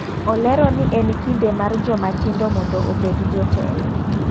Olero ni en kinde mar joma tindo mondo obed jo telo.